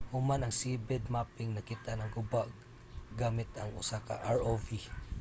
human ang seabed mapping nakit-an ang guba gamit ang usa ka rov